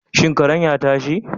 Shin karen ya tashi?